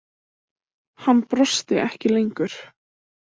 Hann brosti ekki lengur.